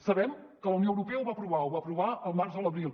sabem que la unió europea ho va aprovar ho va aprovar al març o a l’abril